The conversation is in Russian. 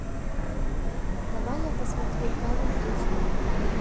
давай я посмотрю камень эйч ди